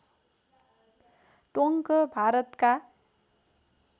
टोङ्क भारतका